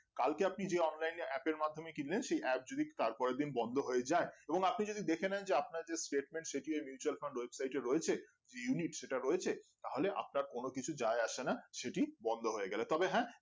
কালকে আপনি যে online এ app এর মাধ্যমে কিনলেন সেই app যদি তারপরের দিন বন্ধ হয়ে যাই এবং আপনি যদি দেখেনেন যে আপনার যে statement সেটি mutual fund website এ রয়েছে যে unit সেটা রয়েছে তাহলে আপনার কোনো কিছু যাই আসে না সেটি বন্ধ হয়ে গেলে তবে হ্যাঁ